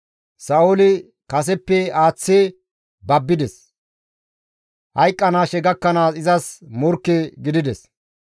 Sa7ooli kaseppe aaththi babbides; hayqqanaashe gakkanaas izas morkke gidides.